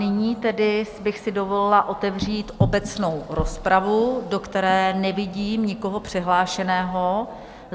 Nyní tedy bych si dovolila otevřít obecnou rozpravu, do které nevidím nikoho přihlášeného.